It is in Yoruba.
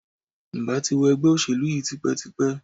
Ǹ bà ti wo ègbé òṣèlú yi tipétipé